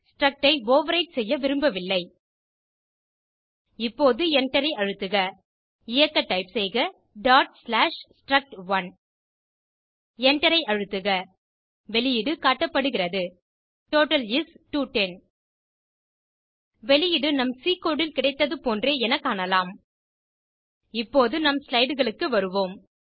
struct ஐ overwrite செய்ய விரும்பவில்லை இப்போது Enter ஐ அழுத்துக இயக்க டைப் செய்க struct1 Enter ஐ அழுத்துக வெளியீடு காட்டப்படுகிறது டோட்டல் இஸ் 210 வெளியீடு நம் சி கோடு ல் கிடைத்தது போன்றே என காணலாம் இப்போது நம் slideகளுக்கு வருவோம்